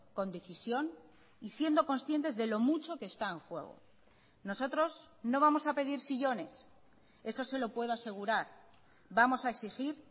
con decisión y siendo conscientes de lo mucho que está en juego nosotros no vamos a pedir sillones eso se lo puedo asegurar vamos a exigir